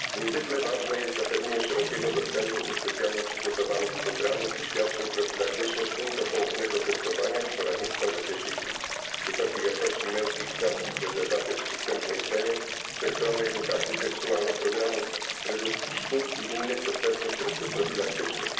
Niezwykle ważne jest zapewnienie szerokiego dostępu do specjalnie przygotowanych programów i świadczeń profilaktycznych, w tym do poufnego testowania i poradnictwa w zakresie HIV, wysokiej jakości męskich i damskich prezerwatyw w przystępnej cenie, wszechstronnej edukacji seksualnej, programów redukcji szkód i innych dostępnych środków profilaktycznych.